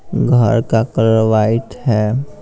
घर का colour white है।